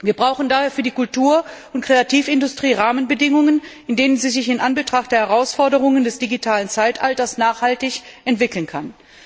Wir brauchen daher für die Kultur und Kreativindustrie Rahmenbedingungen, unter denen sie sich in Anbetracht der Herausforderungen des digitalen Zeitalters nachhaltig entwickeln kann.